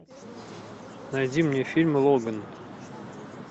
найди мне фильм логан